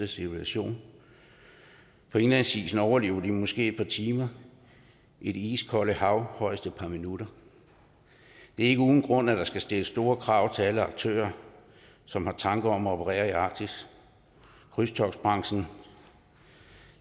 civilisationen på indlandsisen overlever de måske et par timer i det iskolde hav højst et par minutter det er ikke uden grund at der skal stilles store krav til alle aktører som har tanker om at operere i arktis krydstogtbranchen